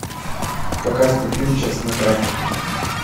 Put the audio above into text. показывай фильм частная практика